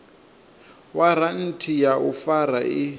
waranthi ya u fara i